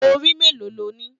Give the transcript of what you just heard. Orí mélòó lọ ní?